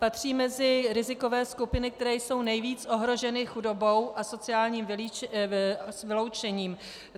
Patří mezi rizikové skupiny, které jsou nejvíc ohroženy chudobou a sociálním vyloučením.